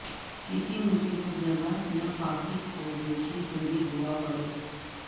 کسی مصیبت زدہ یافاسق کو دیکھے تو یہ دعاء پڑھے